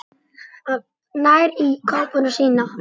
En hún mun sakna hans.